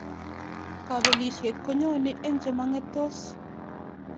Kapelisiet konyoni eng chemangetos